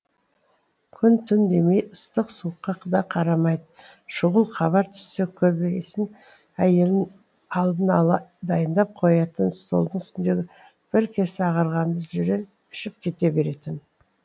күн түн демейді ыстық суыққа да қарамайды шұғыл хабар түссе көбейсін әйелін алдын ала дайындап қоятын столдың үстіндегі бір кесе ағарғанды жүре ішіп кете беретін